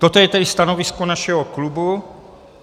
Toto je tedy stanovisko našeho klubu.